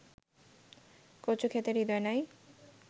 কচুক্ষেতে হৃদয় নাই